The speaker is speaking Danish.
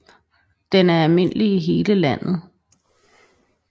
Den er almindelig i hele landet